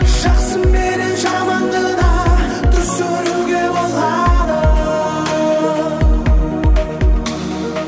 жақсы менен жаманды да түсіруге болады